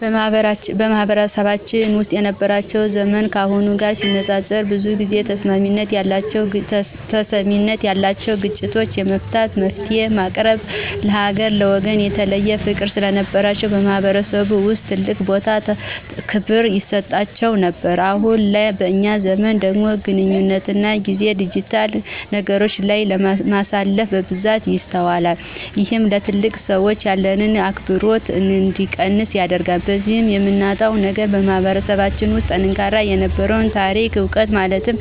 በማህበረሰባችን ውስጥ ወላጆቻችን የነበራቸው ዘመን ካሁኑ ጋር ሲነፃፀር ብዙ ጊዜ ተሰሚነት ያላቸውና ግጭት የመፍታት፣ መፍትሔ የማቅረብና ለሀገርና ለወገን የተለየ ፍቅር ስለነበራቸው በማህበረሰቡ ውስጥ ትልቅ ቦታና ክብር ይሰጣቸው ነበር። አሁን ላይ በእኛ ዘመን ደግሞ ግለኝነትና ጊዜን ዲጂታል ነገሮች ላይ ማሳለፍ በብዛት ይስተዋላል። ይህም ለትልልቅ ሰዎች ያለን አክብሮት እንዲቀንስ ያደርጋል። በዚህም የምናጣው ነገር በማህበረሰባችን ውስጥ ጠንካራ የነበረውን ታሪካዊ ዕውቀት ማለትም